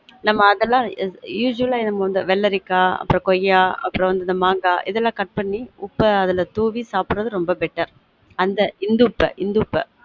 நம்ம அதெல்லாம் usual அ வெள்ளரிக்கா அப்புறம் கொய்யா அப்புறம் இந்த மாங்கா இதெல்லாம் cut பன்னி உப்ப அதல தூவி சாப்ட்ரது ரொம்ப better அந்த இந்துப்ப இந்துப்ப